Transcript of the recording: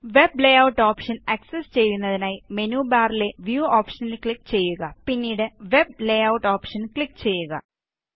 web layout option access ചെയ്യുന്നതിനായി menu ബാറിലെ view ഓപ്ഷനില് ക്ലിക് ചെയ്യുക പിന്നീട് വെബ് ലേയൂട്ട് ഓപ്ഷനില് ക്ലിക് ചെയ്യുക